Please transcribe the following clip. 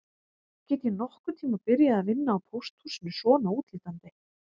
Get ég nokkurn tíma byrjað að vinna á pósthúsinu svona útlítandi